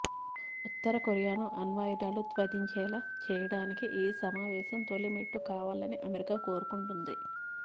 ఉత్తర కొరియాను అణ్వాయుధాలు త్యజించేలా చేయడానికి ఈ సమావేశం తొలి మెట్టు కావాలని అమెరికా కోరుకుంటోంది